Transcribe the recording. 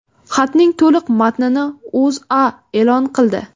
Xatning to‘liq matnini O‘zA e’lon qildi .